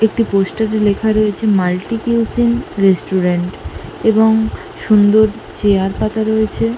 একটি পোস্টার এ লেখা রয়েছে মাল্টি কিউশিন রেস্টুরেন্ট এবং সুন্দর চেয়ার পাতা রয়েছে।